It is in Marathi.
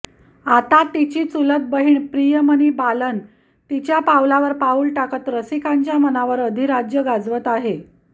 आता तिची चुलत बहिण प्रियमनी बालन तिच्या पाऊलावर पाऊल टाकत रसिकांच्या मनावर आधिराज्य गाजवत आहे